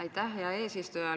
Aitäh, hea eesistuja!